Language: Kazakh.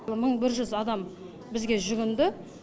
мың бір жүз адам бізге жүгінді